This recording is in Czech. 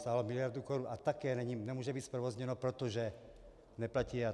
Stálo miliardu korun a také nemůže být zprovozněno, protože neplatí EIA.